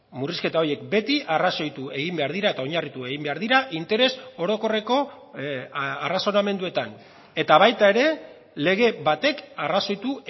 murrizketa horiek beti arrazoitu egin behar dira eta oinarritu egin behar dira interes orokorreko arrazonamenduetan eta baita ere lege batek arrazoitu